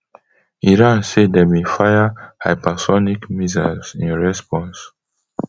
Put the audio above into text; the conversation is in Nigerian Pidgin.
iran say dem bin fire hypersonic missiles in response